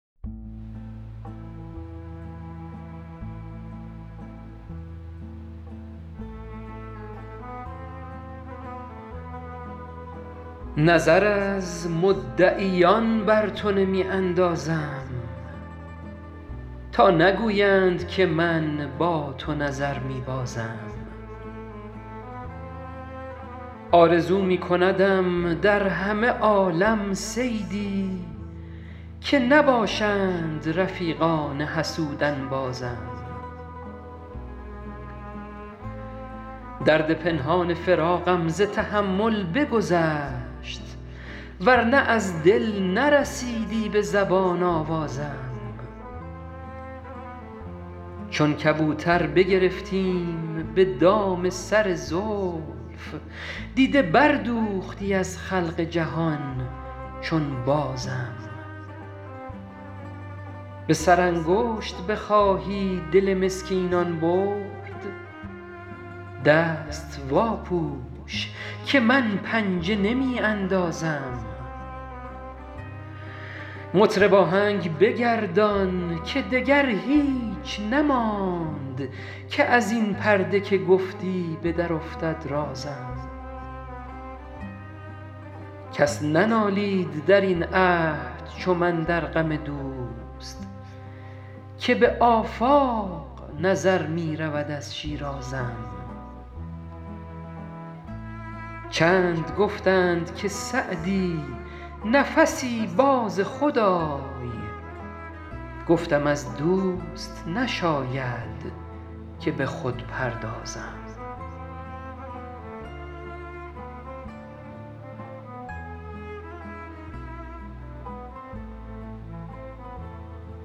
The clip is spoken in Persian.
نظر از مدعیان بر تو نمی اندازم تا نگویند که من با تو نظر می بازم آرزو می کندم در همه عالم صیدی که نباشند رفیقان حسود انبازم درد پنهان فراقم ز تحمل بگذشت ور نه از دل نرسیدی به زبان آوازم چون کبوتر بگرفتیم به دام سر زلف دیده بردوختی از خلق جهان چون بازم به سرانگشت بخواهی دل مسکینان برد دست واپوش که من پنجه نمی اندازم مطرب آهنگ بگردان که دگر هیچ نماند که از این پرده که گفتی به درافتد رازم کس ننالید در این عهد چو من در غم دوست که به آفاق نظر می رود از شیرازم چند گفتند که سعدی نفسی باز خود آی گفتم از دوست نشاید که به خود پردازم